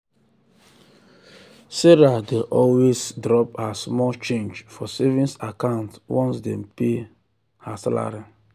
if person dey do ajo e go fit manage how e dey save better.